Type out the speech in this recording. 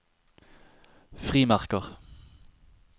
frimerker